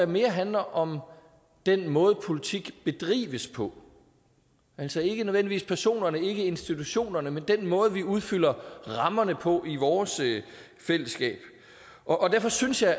mere handler om den måde politik bedrives på altså ikke nødvendigvis personerne ikke institutionerne men den måde vi udfylder rammerne på i vores fællesskab og derfor synes jeg